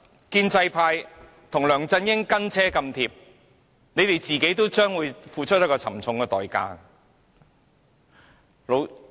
建制派在梁振英後"跟車太貼"，他們也會付出沉重代價。